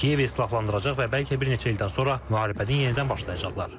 Kiyevi silahlandıracaq və bəlkə bir neçə ildən sonra müharibəni yenidən başlayacaqlar.